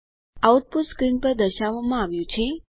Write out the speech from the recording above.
output screen ઉપર દર્શાવવામાં આવ્યું છે